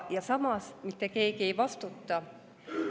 Ja samas mitte keegi ei vastuta.